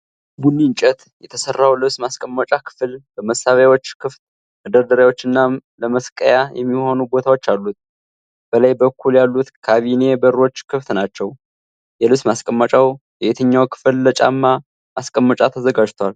ቡኒ እንጨት የተሠራው ልብስ ማስቀመጫ ክፍል በመሳቢያዎች፣ ክፍት መደርደሪያዎችና ለመስቀያ የሚሆኑ ቦታዎች አሉት። በላይ በኩል ያሉት ካቢኔ በሮች ክፍት ናቸው። የልብስ ማስቀመጫው የትኛው ክፍል ለጫማ ማስቀመጫ ተዘጋጅቷል?